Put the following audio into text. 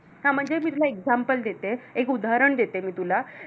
हा म्हणजे मी तुला एक example देते, एक उदाहरण देते मी तुला